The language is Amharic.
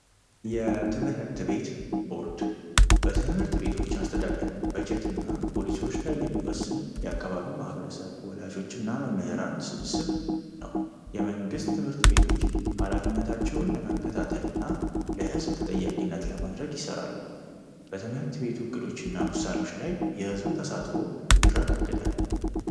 የትምህርት ቤት ቦርድ በትምህርት ቤቶች አስተዳደር በጀት ና ፖሊሲዎች ላይ የሚወስን የአካባቢ ማህበረሰብ ወላዦች እና መምህራን ስብስብ ነው የመንግሥት ትምህርት ቤቶች ኀላፊነታቸውን ለመከታተልና ለሕዝብ ተጠያቂነት ለማድረግ ይሠራሉ በትምህርት ቤቱ ዕቅዶች እና ውሳኖች ላይ የሕዝቡ ተሳትፎ ይረጋግዳል